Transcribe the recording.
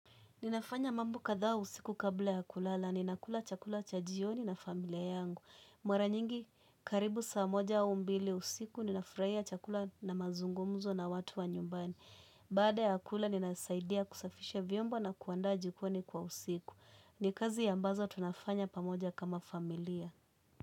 Ninafanya mambo kadhaa usiku kabla ya kulala. Ninakula chakula cha jioni na familia yangu. Mara nyingi, karibu saa moja au mbili usiku. Ninafurahia chakula na mazungumzo na watu wa nyumbani. Baada ya kula, ninasaidia kusafisha viombo na kuandaa jikoni kwa usiku. Ni kazi ambazo tunafanya pamoja kama familia.